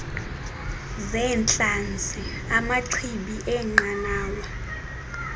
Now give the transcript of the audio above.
zeentlanzi amachibi eenqanawa